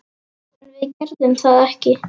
En við gerðum þetta ekki!